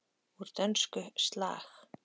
Úr dönsku: slag.